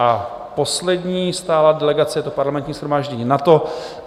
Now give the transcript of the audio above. A poslední stálá delegace, je to Parlamentní shromáždění NATO.